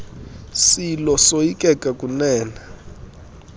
silo soyikeka kunene